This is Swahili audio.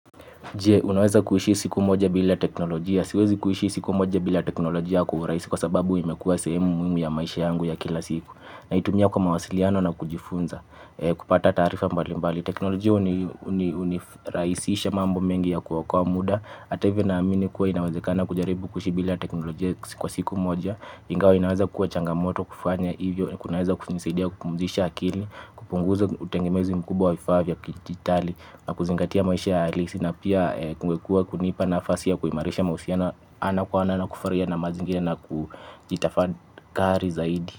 Je, unaweza kuishi siku moja bila teknolojia? Siwezi kuishi siku moja bila teknolojia kwa urahisi kwa sababu imekua sehemu muhimu ya maisha yangu ya kila siku. Naitumia kwa mawasiliano na kujifunza. Kupata taarifa mbalimbali. Teknolojia unirahisisha mambo mengi ya kuokoa muda. Ata hivyo naamini kuwa inawezekana kujaribu kuishi bila teknolojia kwa siku moja. Ingawa inaweza kuwa changamoto kufanya hivyo. Kunaweza kunisaidia kupumzisha akili. Kupunguza utegemezi mkubwa wa vifaa vya kidijitali na kuzingatia maisha ya halisi na pia kungekua kunipa nafasi ya kuhimarisha mahusiano ana kwa ana na kufarahia na mazingira na kujitafakari zaidi.